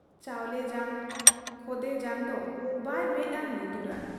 ᱪᱟᱣᱞᱮ ᱡᱟᱜ ᱠᱷᱚᱫᱮ ᱡᱟᱝ ᱫᱚ ᱵᱟᱭ ᱢᱮᱫ ᱟᱱ ᱞᱩᱛᱩᱨᱟᱱᱟ ᱾